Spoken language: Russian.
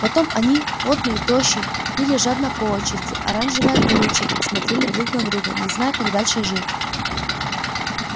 потом они потные тощие пили жадно по очереди оранжевое колючее и смотрели друг на друга не зная как дальше жить